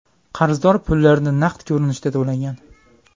Qarzdor pullarni naqd ko‘rinishda to‘lagan.